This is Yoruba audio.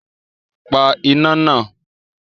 Pa iná náà!